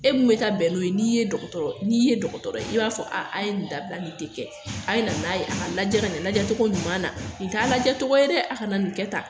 E mu bɛ taa bɛ n'o ye, n'i ye dɔgɔtɔrɔ, n'i ye dɔgɔtɔrɔ ye i b'a fɔ a ye ni dabila, ni te kɛ, a ye na n'a ye a ka lajɛ ka ɲɛ, lajɛ cogo ɲuman na, ni t'a lajɛ cogo ye dɛ, aw kana ni kɛ ta